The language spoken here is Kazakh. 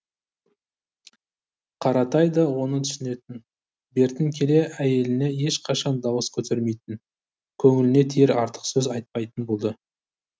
қаратай да оны түсінетін бертін келе әйеліне ешқашан дауыс көтермейтін көңіліне тиер артық сөз айтпайтын болды